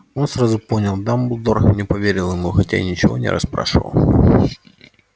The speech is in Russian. он сразу понял дамблдор не поверил ему хотя и ничего не расспрашивал